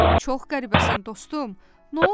"Çox qəribəsən, dostum, nə oldu?"